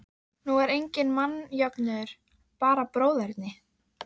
Hún fékk tár í augun af sjálfsmeðaumkun.